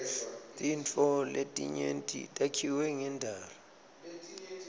tintfo letinyenti takhiwe ngendalo